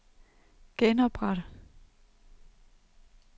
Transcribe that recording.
genopret